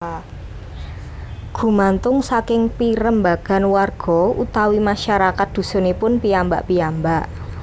Gumantung saking pirembagan warga utawi masyarakat dhusunipun piyambak piyambak